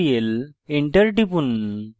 enter টিপুন